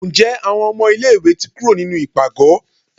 nje awọn ọmọ ilẹ̀ ìwé tí kúrò nínú ipágọ?